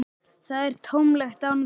Það er tómlegt án þín.